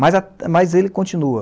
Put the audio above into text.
Mas a, mas ele continua.